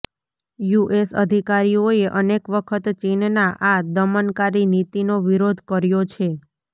US અધિકારીઓએ અનેક વખત ચીનનાં આ દમનકારી નીતીનો વિરોધ કર્યો છે